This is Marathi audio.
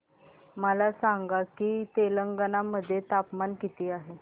मला सांगा की तेलंगाणा मध्ये तापमान किती आहे